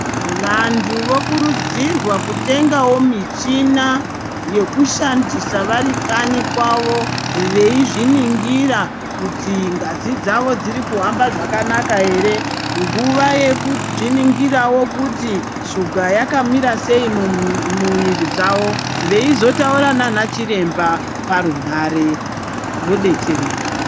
Vantu vokurudzirwa kutengawo michina yekushandisa vari kanyi kwavo veizvinongira kuti ngazi dzavo dzirikuhamba zvakanaka ere nguwa yekuzviningirawo kuti shuga yakamirasei mumuviri dzavo veizotaura nana chiremba parunhare vodetsereka.